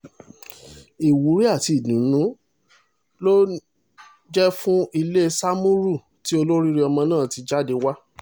ìwúrí àti ìdùnú ló ní ó jẹ́ fún ilé sámúrù tí olóríire ọmọ náà ti jáde wá